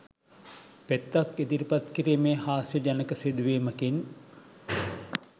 පෙත්තක් ඉදිරිපත් කිරීමේ හාස්‍යජනක සිදුවීමකින්